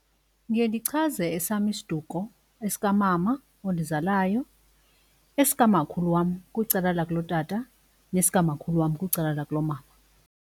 Ndiye ndichaze esam isiduko esikamama ondizalayo esikamakhulu wam kwicala lakulotata nesikamakhulu wam kwicala lakulomama.